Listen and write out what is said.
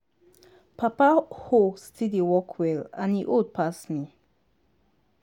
papa hoe still dey work well and e old pass me.